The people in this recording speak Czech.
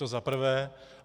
To za prvé.